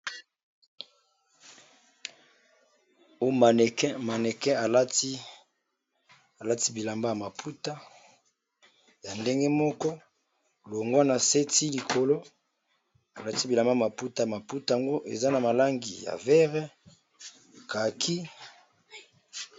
Maneke alati bilamba ya maputa ya ndenge moko longwa na seti likolo alati bilamba ya maputa ya maputa yango eza na malangi ya verre caki.